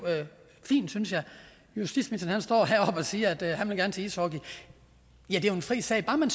fint justitsministeren står heroppe og siger at han gerne vil til ishockey det er jo en fri sag bare man